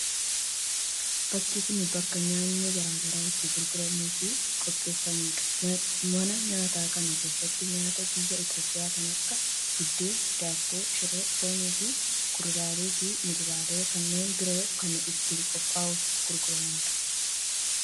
Bakki kun, bakka nyaanni garaa garaa itti gurguramuu fi qopheeffamuu dha. Mana nyaataa kana keessatti, nyaata biyya Itoophiyaa kan akka :buddeena, daabboo, shiroo, foon fi kuduraalee fi muduraalee kanneen biroo kan itti qophaa'u fi gurguramuu dha.